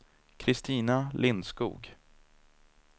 Kristina Lindskog